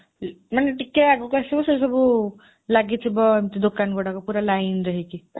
ମାନେ ଟିକିଏ ଆଗକୁୁ ଆସିବୁ, ସେଇସବୁ ଲାଗିଥିବ ଏମିତି ଦୋକାନଗୁଡ଼ାକ ପୁରା lineରେ ହେଇକି।